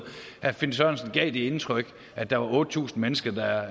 herre finn sørensen gav det indtryk at der var otte tusind mennesker der